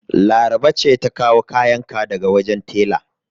Laraba ce ta kawo kayan ka daga wajen tela.